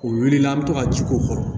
O wulila an bɛ to ka ji k'o kɔrɔ